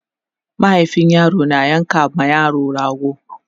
mahaifin yaro na yanka ma yaro rago